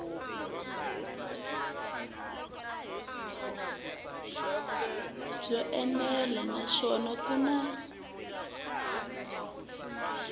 byo enela naswona ku na